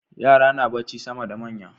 Yara na bacci sama da manya